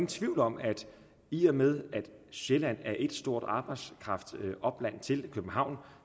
tvivl om at i og med at sjælland er ét stort arbejdskraftopland til københavn